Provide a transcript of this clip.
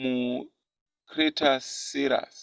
mucretaceous